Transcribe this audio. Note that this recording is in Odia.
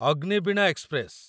ଅଗ୍ନିବୀଣା ଏକ୍ସପ୍ରେସ